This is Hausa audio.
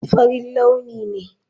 Farin launi ne.